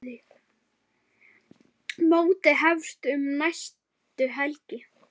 Mótið hefst um næstu helgi.